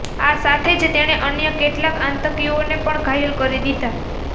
આ સાથે જ તેણે અન્ય કેટલાક આતંકીઓને પણ ઘાયલ કરી દીધા